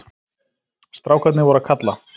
Strákarnir voru að kalla.